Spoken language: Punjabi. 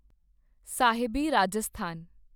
ਸਾਹਿਬੀ ਰਾਜਸਥਾਨ